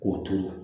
K'o to yen